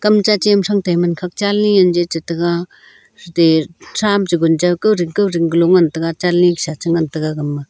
kam chache ma thang tai man khak chali anje taga atte thram cha gun cha kaoding kaoding galo ngan taga chali sa cha ngan taga gama.